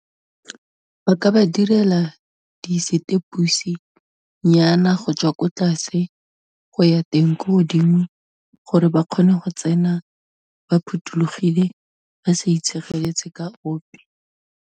Ba ka ba direla disetepose nyana, go tswa ko tlase go ya teng ko godimo, gore ba kgone go tsena ba phuthologile, ba sa itshegeletse ka ope.